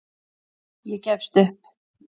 Ég gefst upp